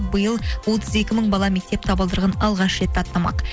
биыл отыз екі мың бала мектеп табалдырығын алғаш рет аттамақ